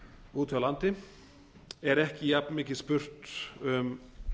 úti á landi er ekki jafnmikið spurt um